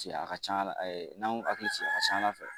Paseke a ka can a la ɛɛ ,n'a y'u hakili sigi a ka ca ala fɛ